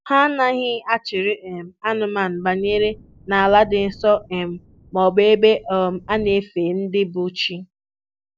Ha anaghị achịrị um anụmanụ banye n'ala dị nsọ um maọbụ ebe um a na-efe ndị bụ chi